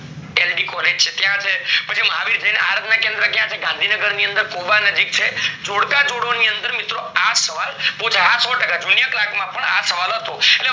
LD college છે ત્યાં છે, પછી મહાવીર જૈન આરાધના કેન્દ્ર ક્યાં છે ગાંધીનગર ની અંદર કોબા ની નજીક છે, જોડકા જોડો ની અંદર આ સવાલ પૂછાય સો ટકા પુછાય junior clerk માં પણ આ સવાલ હતો એટલે